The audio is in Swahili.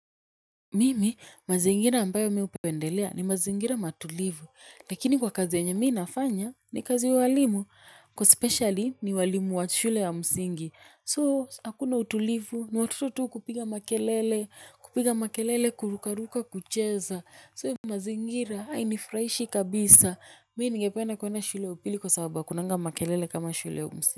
Mimi, mazingira ambayo mi upendelea ni mazingira matulivu, lakini kwa kazi yenye mi nafanya ni kazi ya uwalimu, kwa specially ni walimu wa shule ya msingi, soo hakuna utulivu ni watoto tu kupiga makelele, kupiga makelele, kurukaruka, kucheza, soo mazingira hainifraishi kabisa, mi ningependa kuenda shule ya upili kwa sababu hakunanga makelele kama shule ya msingi.